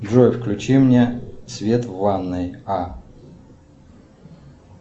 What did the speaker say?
джой включи мне свет в ванной а